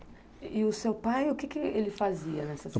E e o seu pai, o que que ele fazia nessa